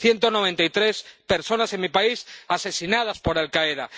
Ciento noventa y tres personas en mi país asesinadas por Al Qaeda.